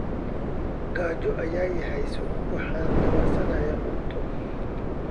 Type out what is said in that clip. Gaajo ayaa i haysa, waxaan dawarsanayaa cunto.